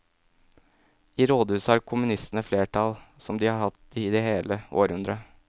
I rådhuset har kommunistene flertall, som de har hatt det i hele århundret.